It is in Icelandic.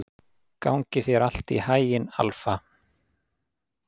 Gangi þér allt í haginn, Alfa.